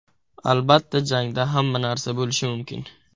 Albatta, jangda hamma narsa bo‘lishi mumkin.